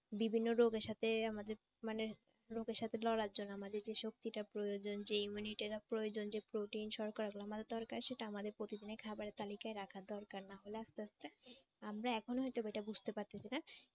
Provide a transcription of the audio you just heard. বিভিন্ন রোগের সাথে আমাদের মানে রোগের সাথে লড়ার জন্য আমাদের যে শক্তিটা প্রয়োজন যে immunity টা প্রয়োজন যে protein শর্করাগুলো আমাদের দরকার সেটা আমাদের প্রতিদিনের খাবারের তালিকায় রাখার দরকার না হলে আস্তে আস্তে আমরা এখনো হয়তবা এটা বুঝতে পারতেছি না